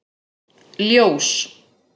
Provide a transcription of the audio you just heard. Ljós